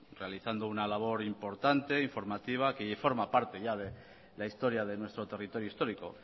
realizando una labor importante informativa que forma parte ya de la historia de nuestro territorio histórico